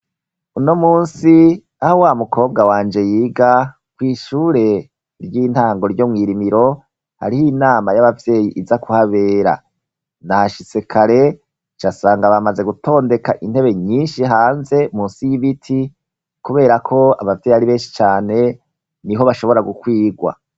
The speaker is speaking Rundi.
Uno munsi aho wa mukobwa wanje yiga kw' ishure ry'intango ryo mw'Irimiro, harih' inama y'ababyeyi iza kuhabera ,nashitse kare nca sanga bamaze gutondeka intebe nyinshi hanze munsi y'ibiti kubera ko abavyeyi ari benshi cane niho bashobora gukwirwa.